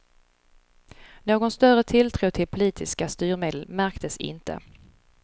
Någon större tilltro till politiska styrmedel märktes inte.